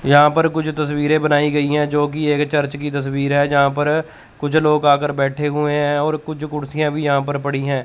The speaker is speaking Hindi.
यहां पर कुछ तस्वीरे बनाई गई है जो की एक चर्च की तस्वीर है। जहां पर कुछ लोग आकर बैठे हुए हैं और कुछ कुर्सिया भी यहां पर पड़ी है।